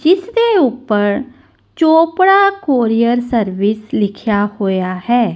ਜਿੱਸ ਦੇ ਊਪਰ ਚੋਪੜਾ ਕੋਰੀਅਰ ਸਰਵਿਸ ਲਿਖੇਆ ਹੋਇਆ ਹੈ।